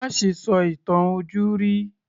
Má ṣe sọ ìtàn ojúrí